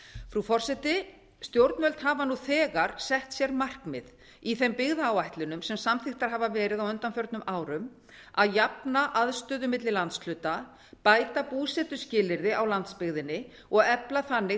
frú forseti stjórnvöld hafa nú þegar sett sér markmið í þeim byggðaáætlunum sem samþykktar hafa verið á undanförnum árum að jafna aðstöðu milli landshluta bæta búsetuskilyrði á landsbyggðinni og efla þannig